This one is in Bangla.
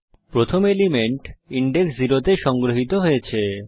প্রথম এলিমেন্ট ইনডেক্স 0 তে সংগ্রহিত হয়েছে